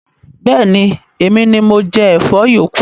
Bẹẹni, Emini mo jẹ Ẹ̀fọ́ yókù